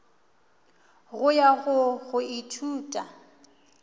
go ya go go ithuta